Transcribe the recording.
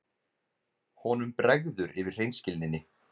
Honum bregður yfir hreinskilninni.